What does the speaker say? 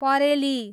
परेली